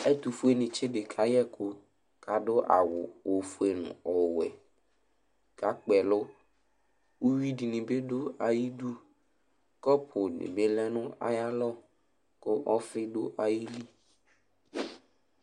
Ɛtʋfuenɩtsɩ dɩ kayɛ ɛkʋ kʋ adʋ awʋ ofue nʋ ɔwɛ kʋ akpɩ ɛlʋ Uyui dɩnɩ bɩ dʋ ayidu Kɔpʋnɩ bɩ lɛ nʋ ayalɔ kʋ ɔfɩ dʋ ayili